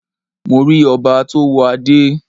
Mo rí ọba tó wọ Adẹ́